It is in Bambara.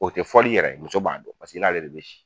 O te fɔli yɛrɛ muso b'a dɔn pasek'i n'ale de be si.